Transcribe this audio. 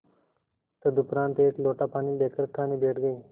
तदुपरांत एक लोटा पानी लेकर खाने बैठ गई